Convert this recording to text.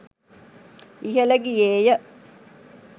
ඉහළ ගියේ ය.